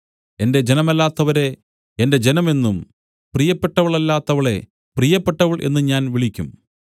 എന്റെ ജനമല്ലാത്തവരെ എന്റെ ജനം എന്നും പ്രിയപ്പെട്ടവളല്ലാത്തവളെ പ്രിയപ്പെട്ടവൾ എന്നും ഞാൻ വിളിക്കും